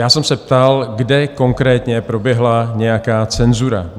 Já jsem se ptal, kde konkrétně proběhla nějaká cenzura.